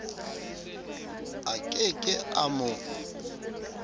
a ke ke a mo